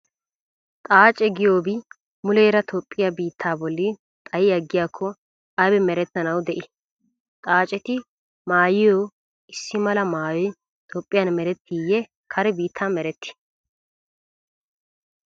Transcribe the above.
Xaace giyoobi muleera Toophphiyaa biittaa bolli xayi aggiyaakko aybi merettanawu de"ii? Xaaceti maayiyo issi mala maayoy Toophphiyan merettiiyye kare biittan merettii?